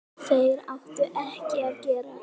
Þeir áttu ekki að gerast.